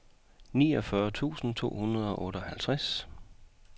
niogfyrre tusind to hundrede og otteoghalvtreds